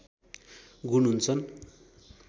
गुण हुन्छन्